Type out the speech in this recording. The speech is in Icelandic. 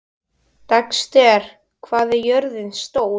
Dexter, hvað er jörðin stór?